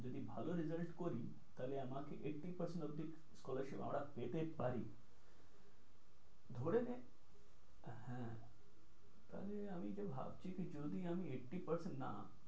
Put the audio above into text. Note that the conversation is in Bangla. যদি ভালো result করি তাহলে আমাকে eighty percent অব্দি scholarship আমরা পেতে পারি, ধরে নে হ্যাঁ আরে আমি যা ভাবছি কি যদি আমি eighty percent না,